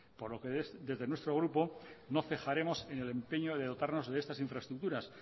por lo que desde nuestro grupo no cejaremos en el empeño de dotarnos de estas infraestructuras